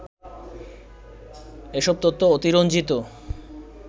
এসব তথ্য অতিরঞ্জিত